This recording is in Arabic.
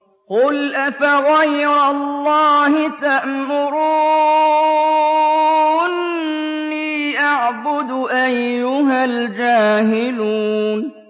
قُلْ أَفَغَيْرَ اللَّهِ تَأْمُرُونِّي أَعْبُدُ أَيُّهَا الْجَاهِلُونَ